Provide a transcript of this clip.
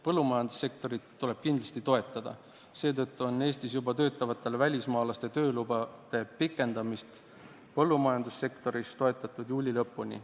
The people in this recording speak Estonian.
Põllumajandussektorit tuleb kindlasti toetada, seetõttu on toetatud Eestis juba töötavate välismaalaste töölubade pikendamist põllumajandussektoris juuli lõpuni.